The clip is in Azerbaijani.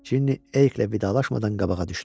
Cinni Erikklə vidalaşmadan qabağa düşdü.